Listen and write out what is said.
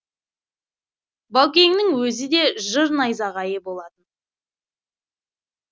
баукеңнің өзі де жыр найзағайы болатын